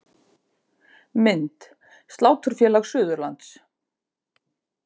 Mynd: Sláturfélag Suðurlands